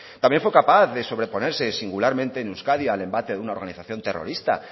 también fue capaz de sobre ponerse singularmente en euskadi al embate de una organización terrorista